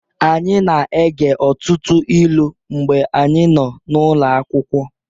Anyị na-ege ọtụtụ ilu mgbe anyị nọ n'ụlọ akwụkwọ